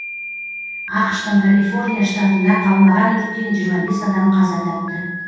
ақш тың калифорния штатында қаулаған өрттен жиырма бес адам қаза тапты